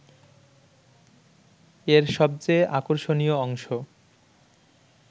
এর সবচেয়ে আকর্ষণীয় অংশ